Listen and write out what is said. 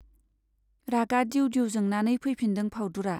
रागा दिउ दिउ जोंनानै फैफिनदों फाउदुरा।